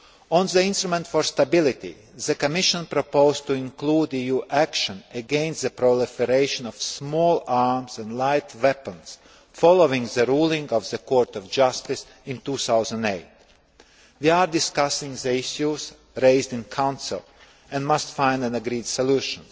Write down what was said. On the instrument for stability, the Commission proposed to include EU action against the proliferation of small arms and light weapons, following the ruling of the Court of Justice in 2008. We are discussing the issues raised in Council and must find an agreed solution.